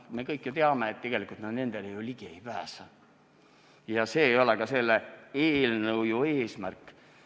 Samas me kõik ju teame, et tegelikult nad nendele ligi ei pääse ja see ei ole ka selle eelnõu eesmärk.